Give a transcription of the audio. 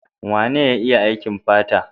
Wane ya iya aikin fata?